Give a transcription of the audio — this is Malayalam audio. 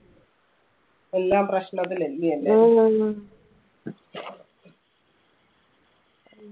എല്ലാം പ്രശ്നത്തിലാ അല്ല്യോ ലെ